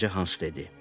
Balaca hans dedi.